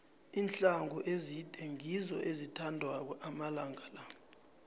iinhluthu ezide ngizo ezithandwako amalanga la